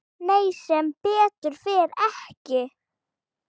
Nei, sem betur fer ekki.